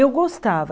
Eu gostava.